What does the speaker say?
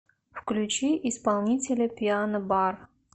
включи исполнителя пиано бар